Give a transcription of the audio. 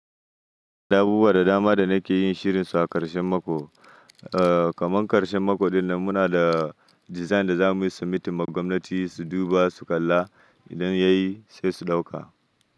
Da abubuwa da dama da nake yin shirin su a ƙarshen mako, eh kamar ƙarshen mako dinnan muna da Design da zamu yi submission ma gwamnati su duba su kalla idan yayi sai su ɗauka.